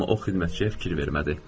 Amma o xidmətçiyə fikir vermədi.